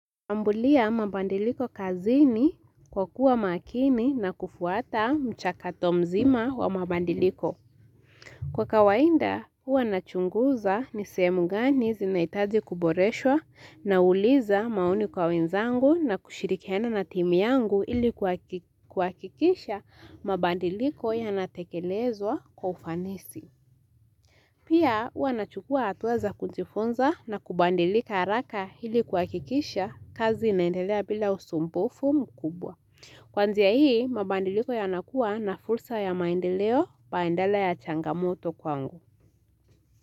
Ambulia mabandiliko kazini kwa kuwa makini na kufuata mchakato mzima wa mabandiliko. Kwa kawainda, huwa nachunguza ni sehemu gani zinahitaji kuboreshwa nauliza maoni kwa wenzangu na kushirikiana na timu yangu ili kuhakikisha mabandiliko yanatekelezwa kwa ufanisi. Pia huwa nachukua hatua za kujifunza na kubandilika haraka hili kuhakikisha kazi inaendelea bila usumbufu mkubwa. Kwa njia hii, mabandiliko yanakua na fursa ya maendeleo bandala ya changamoto kwangu.